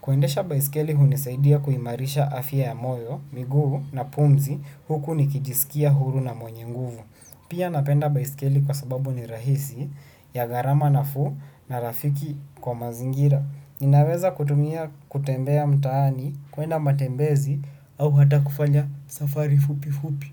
Kuendesha baiskeli hunisaidia kuimarisha afya ya moyo, miguu na pumzi huku nikijisikia huru na mwenye nguvu. Pia napenda baiskeli kwa sababu ni rahisi ya gharama nafuu na rafiki kwa mazingira. Ninaweza kutumia kutembea mtaani kuenda matembezi au hata kufanya safari fupi fupi.